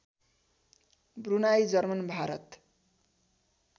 Brunei German Bharat